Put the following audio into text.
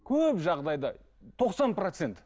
көп жағдайда тоқсан процент